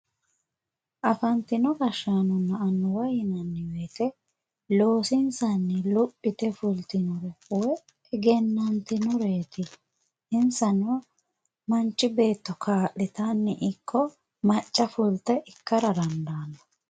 Afantino gashshaanona annuwa yinnanni woyte loosinsanni lophite fultino woyi egenantinoreti insano manchi beetto kaa'littanni ikko macca fulte ikkara dandaano